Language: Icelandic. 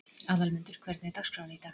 Aðalmundur, hvernig er dagskráin í dag?